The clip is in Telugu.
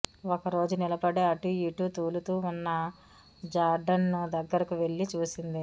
ఒక రోజు నిలబడి అటూ ఇటూ తూలుతూ ఉన్న జార్డన్ను దగ్గరకు వెళ్లి చూసింది